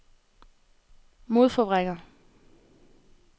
modforvrænger